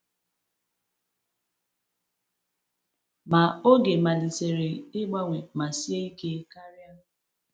Ma, oge malitere ịgbanwe ma sie ike karịa.